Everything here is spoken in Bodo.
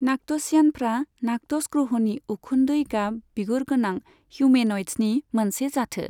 नाक्ट'सियानफ्रा नाक्टस ग्रहनि उखुन्दै गाब बिगुरगोनां हिउमेन'यड्सनि मोनसे जाथो।